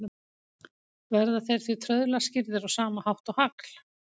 Verða þeir því trauðla skýrðir á sama hátt og hagl.